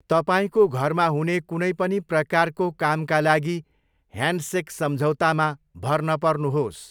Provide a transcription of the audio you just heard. तपाईँको घरमा हुने कुनै पनि प्रकारको कामका लागि 'ह्यान्डसेक सम्झौता' मा भर नपर्नुहोस्।